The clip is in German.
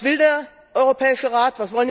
Und was will der Europäische Rat?